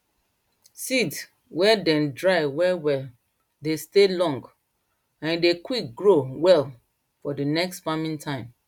seed wey dem dry well well dey stay long and e dey quick grow well for d next farming time